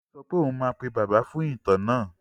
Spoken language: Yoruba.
Olú sọ pé ó máa pè Bàbá fún ìtàn náà?